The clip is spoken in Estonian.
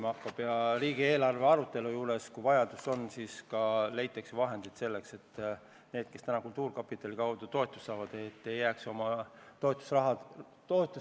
Aga kui vaja on, siis riigieelarve arutelul leitakse vahendeid, et nendel, kes täna kultuurkapitali kaudu toetust saavad, ei jääks toetusraha vähemaks.